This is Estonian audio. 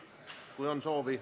Mul ei ole soovi.